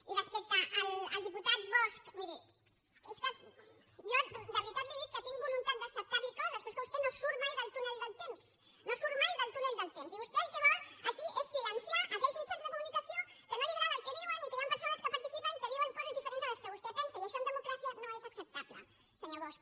i respecte al diputat bosch miri és que jo de veritat li dic que tinc voluntat d’acceptar li coses però és que vostè no surt mai del túnel del temps no surt mai del túnel del temps i vostè el que vol aquí és silenciar aquells mitjans de comunicació que no li agrada el que diuen i en què hi han persones que hi participen que diuen coses diferents de les que vostè pensa i això en democràcia no és acceptable senyor bosch